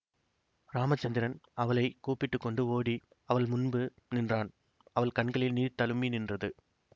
ராமசந்திரன் அவளை கூப்பிட்டுக்கொண்டு ஓடி அவள் முன்பு நின்றான் அவள் கண்களில் நீர் தளும்பி நின்றது